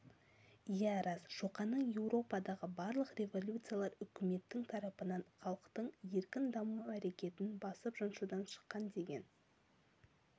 иә рас шоқанның еуропадағы барлық революциялар үкіметтің тарапынан халықтың еркін даму әрекетін басып-жаншудан шыққан деген